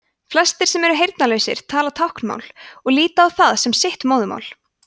flestir sem eru heyrnarlausir tala táknmál og líta á það sem sitt móðurmál